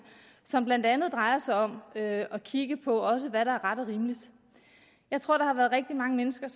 som blandt andet også drejer sig om at kigge på hvad der er ret og rimeligt jeg tror der er rigtig mange mennesker